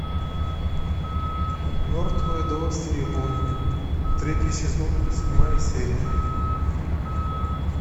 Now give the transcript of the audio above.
мертвые до востребования третий сезон седьмая серия